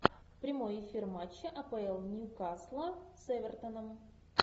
прямой эфир матча апл ньюкасла с эвертоном